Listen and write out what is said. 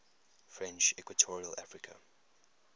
french equatorial africa